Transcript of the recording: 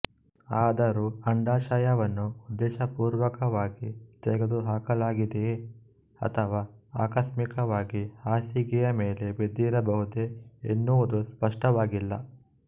ಆದರೂ ಅಂಡಾಶಯವನ್ನು ಉದ್ದೇಶಪೂರ್ವಕವಾಗಿ ತೆಗೆದುಹಾಕಲಾಗಿದೆಯೇ ಅಥವಾ ಆಕಸ್ಮಿಕವಾಗಿ ಹಾಸಿಗೆಯ ಮೇಲೆ ಬಿದ್ದಿರಬಹುದೇ ಎನ್ನುವುದು ಸ್ಪಷ್ಟವಾಗಿಲ್ಲ